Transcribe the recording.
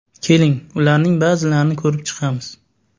Keling, ularning ba’zilarini ko‘rib chiqamiz.